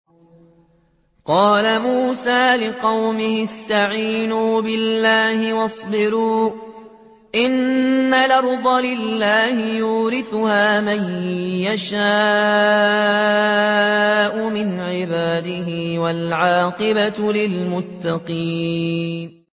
قَالَ مُوسَىٰ لِقَوْمِهِ اسْتَعِينُوا بِاللَّهِ وَاصْبِرُوا ۖ إِنَّ الْأَرْضَ لِلَّهِ يُورِثُهَا مَن يَشَاءُ مِنْ عِبَادِهِ ۖ وَالْعَاقِبَةُ لِلْمُتَّقِينَ